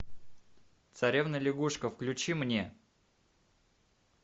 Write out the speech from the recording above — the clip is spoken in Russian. царевна лягушка включи мне